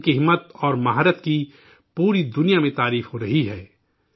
ان کی شجاعت اور مہارت کی پوری دنیا میں تعریف ہو رہی ہے